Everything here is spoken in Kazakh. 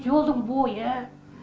жолдың бойы